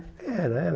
Era, era.